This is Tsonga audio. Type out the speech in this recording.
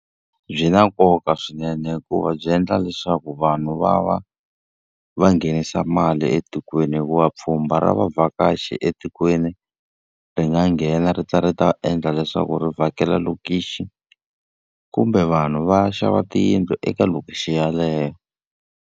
Byi na nkoka swinene hikuva byi endla leswaku vanhu va va va nghenisa mali etikweni. Hikuva pfhumba ra vavhakachi etikweni ri nga nghena ri ta ri ta endla leswaku ri vhakela lokixi, kumbe vanhu va xava tiyindlu eka lokixi yeleyo.